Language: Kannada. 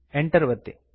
Enter ಒತ್ತಿ